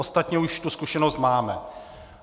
Ostatně už tu zkušenost máme.